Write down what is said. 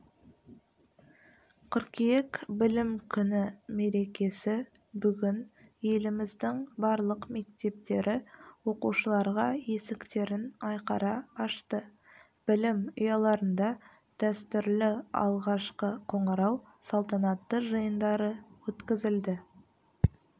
қыркүйек білім күні мерекесі бүгін еліміздің барлық мектептері оқушыларға есіктерін айқара ашты білім ұяларында дәстүрлі алғашқы қоңырау салтанатты жиындары өткізілді